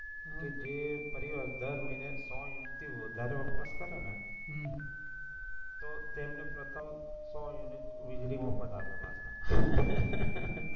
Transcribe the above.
કે જે ફરી અઢાર મહિને સો યુનિટથી વધારે વપરાશ કરે ને હમ તો તેમને પ્રથમ સો યુનિટ વીજળી મફત આપે પાછા